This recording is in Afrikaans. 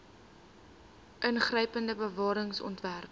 ingrypende bewaring ontwerp